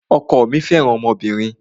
Ọkọ mí fẹràn ọmọbìnrin.